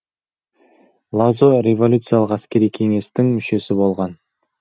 лазо революциялық әскери кеңестің мүшесі болған